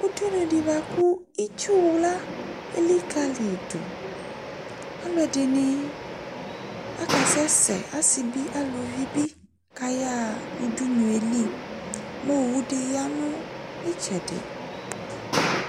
Ʋɖʋnʋɖi bua kʋ itsuwla elikaliɖʋAaluɛɖi akasɛsɛ aasibiɛ aalʋvibi k'ayaa, ʋɖʋnʋelimʋ owuɖi ya nʋ itsɛɖi